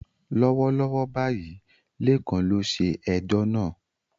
Lọ́wọ́lọ́wọ́ báyìí, Lekan ló ṣe ẹjọ́ náà.